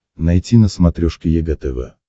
найти на смотрешке егэ тв